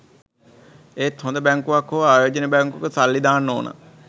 ඒත් හොද බැංකුවක් හෝ ආයෝජන බැංකුවක සල්ලි දාන්න ඔන.